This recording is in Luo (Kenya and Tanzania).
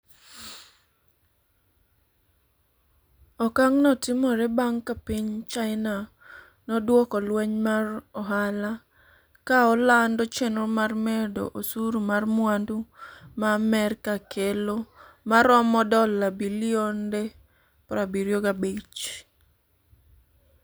Okang'no timore bang' ka piny China nodwoko lweny mar ohala, ka olando chenro mar medo osuru mar mwandu ma Amerka kelo ma romo dola bilionde 75.